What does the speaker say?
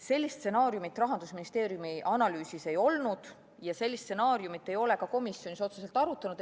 Sellist stsenaariumit Rahandusministeeriumi analüüsis ei olnud ja sellist stsenaariumit ei ole ka komisjonis otseselt arutatud.